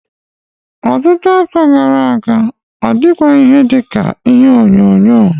Ọtụtụ afọ gara aga ọ dịghị ihe dị ka telivishọn.